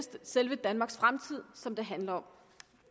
selve danmarks fremtid som det handler om